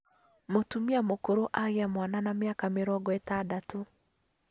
Mũtumia mũkũrũ agĩa mwana na mĩaka mĩrongo itandatũ